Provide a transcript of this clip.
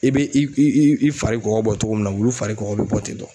I bɛ i i i fari kɔgɔ bɔ cogo min na wulu fari kɔgɔ bɛ bɔ ten